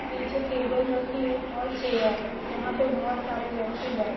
नीचे टेबल रखी है और चेयर है। जहा पे बहुत सारे व्यक्ति बैठे--